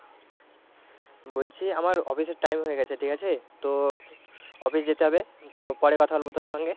বলছি আমার office এর time হয়ে গেছে ঠিক আছে তো office যেতে হবে তো পরে কথা বলবো তোর সঙ্গে।